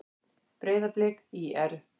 Breiðablik- ÍR